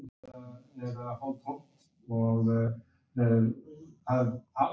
Jón Jakobsson, síðar prestur á Bíldudal.